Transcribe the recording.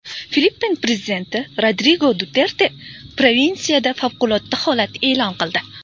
Filippin prezidenti Rodrigo Duterte provinsiyada favqulodda holat e’lon qildi .